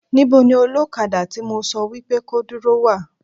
Níbo ní olókadà tí mo sọ wípé ko dúró wà